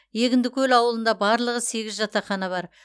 егіндікөл ауылында барлығы сегіз жатақхана бар